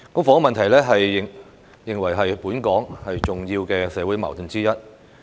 房屋問題被認為是本港重要的社會矛盾之一。